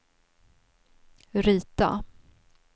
rita